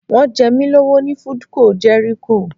Wọ́n jẹ mí lówó ní Foodco Jẹ́ríkò